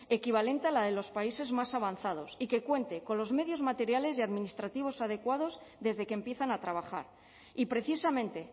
equivalente a la de los países más avanzados y que cuente con los medios materiales y administrativos adecuados desde que empiezan a trabajar y precisamente